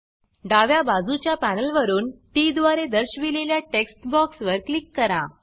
डाव्या बाजूच्या पॅनल वरुन Tद्वारे दर्शविलेल्या टेक्स्ट बॉक्स वर क्लिक करा